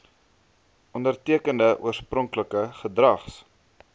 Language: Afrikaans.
ondertekende oorspronklike gedrags